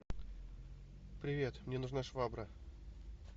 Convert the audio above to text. привет мне нужна швабра